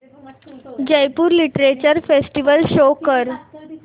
Jaipur literature festival show कर